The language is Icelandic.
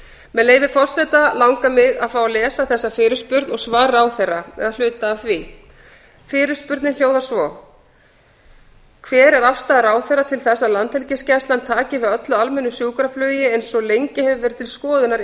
með leyfi forseta langar mig að fá að lesa þessa fyrirspurn og hluta af svari ráðherra fyrirspurnin hljóðar svo fyrsti hver er afstaða ráðherra til þess að landhelgisgæslan taki við öllu almennu sjúkraflugi eins og hefur lengi verið til skoðunar